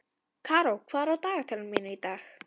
Karó, hvað er á dagatalinu mínu í dag?